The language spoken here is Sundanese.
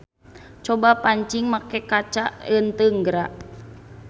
Coba pancing make kaca eunteung geura.